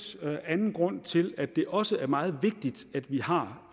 anden grund til at det også er meget vigtigt at vi har